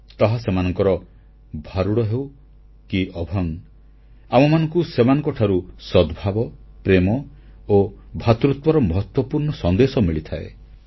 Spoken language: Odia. ତାହା ସେମାନଙ୍କର ଭାରୁଡ଼ ହେଉ କି ଅଭଙ୍ଗ ଆମମାନଙ୍କୁ ସେମାନଙ୍କଠାରୁ ସଦ୍ଭାବ ପ୍ରେମ ଓ ଭ୍ରାତୃତ୍ୱର ମହତ୍ୱପୂର୍ଣ୍ଣ ସନ୍ଦେଶ ମିଳିଥାଏ